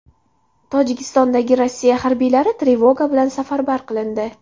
Tojikistondagi Rossiya harbiylari trevoga bilan safarbar qilindi.